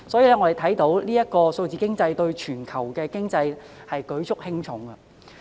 由此可見，數字經濟對全球經濟舉足輕重。